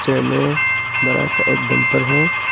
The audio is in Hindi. में एक बड़ा सा एक डंपर है।